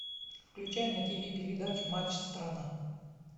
включай на тв передачу матч страна